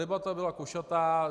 Debata byla košatá.